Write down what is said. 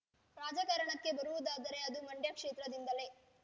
ರಾಜಕಾರಣಕ್ಕೆ ಬರುವುದಾದರೆ ಅದು ಮಂಡ್ಯ ಕ್ಷೇತ್ರದಿಂದಲೇ